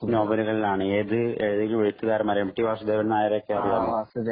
നോവലുകളാണ് ഏത് ഏതൊക്കെ എഴുത്തുകാരന്മാരാണ് എം ടി വാസുദേവൻ നായരെ ഒക്കെ അറിയാലോ